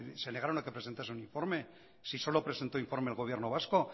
se negaron a que presentase un informe si solo presentó informe el gobierno vasco